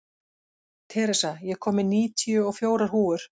Theresa, ég kom með níutíu og fjórar húfur!